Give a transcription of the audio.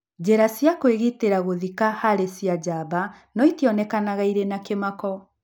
Njĩra cia kũĩgitĩra gũthika harĩ cia jamba no itionekaga irĩ na kĩmako